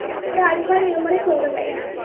ഒര് alpha numeric code കളാരിക്കും